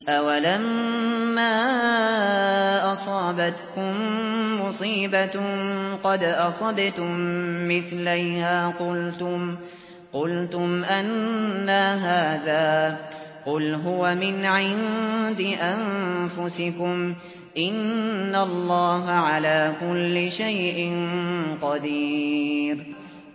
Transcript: أَوَلَمَّا أَصَابَتْكُم مُّصِيبَةٌ قَدْ أَصَبْتُم مِّثْلَيْهَا قُلْتُمْ أَنَّىٰ هَٰذَا ۖ قُلْ هُوَ مِنْ عِندِ أَنفُسِكُمْ ۗ إِنَّ اللَّهَ عَلَىٰ كُلِّ شَيْءٍ قَدِيرٌ